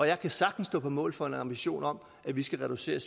jeg kan sagtens stå på mål for en ambition om at vi skal reducere